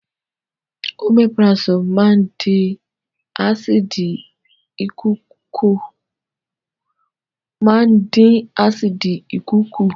Omeprazole máa ń dín ásíìdì ikùn kù